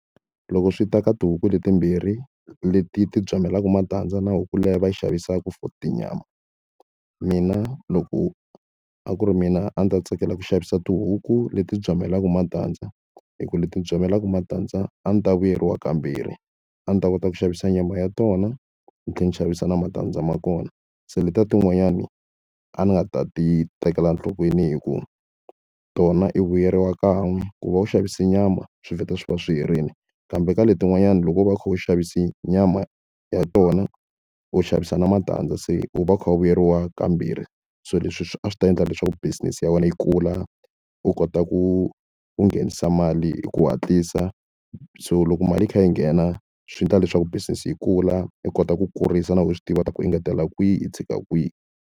Loko swi ta ka tihuku leti timbirhi leti ti byamelaka matandza na huku leyi va yi xavisaka for tinyama mina loko a ku ri mina a ndzi ta tsakela ku xavisa tihuku leti byamelaka matandza hi ku leti byamelaka matandza a ndzi ta vuyeriwa kambirhi a ndzi ta kota ku xavisa nyama ya tona ni tlhela ni xavisa na matandza ma kona se letiya tin'wanyani a ni nga ta ti tekela enhlokweni hikuva tona i vuyeriwa kan'we ku va u xavisa nyama swi vheta swi va swi herile kambe ka letin'wanyani loko wo va u kha u xavise nyama ya tona u xavisa na matandza se u va u kha u vuyeriwa kambirhi so leswi swi a swi ta endla leswaku business ya wena yi kula u kota ku u nghenisa mali hi ku hatlisa so loko mali yi kha yi nghena swi endla leswaku business yi kula u kota ku kurisa na u swi tiva ta ku engetela kwihi i tshika kwihi.